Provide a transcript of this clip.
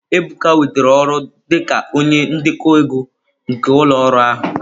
Ebuka nwetara ọrụ dị ka onye ndekọ ego nke ụlọ ọrụ ahụ.